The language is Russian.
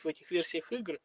в этих версиях игр